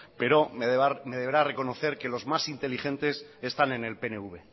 pero me deberá reconocer que los más inteligentes están en el pnv